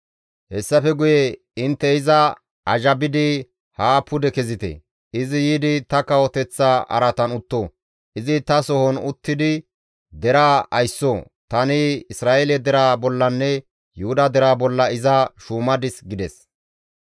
Hessafe guye intte iza azhabidi haa pude kezite; izi yiidi ta kawoteththa araatan utto; izi ta sohon uttidi deraa aysso; tani Isra7eele deraa bollanne Yuhuda deraa bolla iza shuumadis» gides.